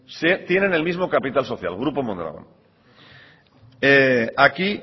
tienen el mismo capital social grupo mondragón aquí